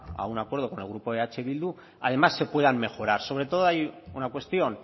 a un acuerdo con el grupo eh bildu además se puedan mejorar sobre todo hay una cuestión